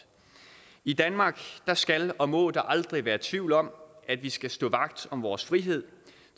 i danmark skal og må der aldrig være tvivl om at vi skal stå vagt om vores frihed